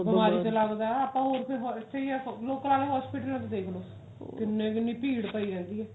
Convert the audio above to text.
ਬਿਮਾਰੀ ਤੇ ਲਗਦਾ ਆਪਾਂ ਹੋਰ ਕੋਈ ਸਹੀ ਹੈ ਲੋਕਾ ਦੇ hospital ਚ ਦੇਖਲੋ ਕਿੰਨੀ ਕਿੰਨੀ ਭੀੜ ਪਈ ਰਹਿੰਦੀ ਹੈ